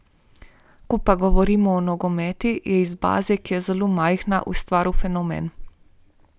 Ko pa govorimo o nogometu, je iz baze, ki je zelo majhna, ustvaril fenomen.